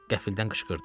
Qəfildən qışqırdı.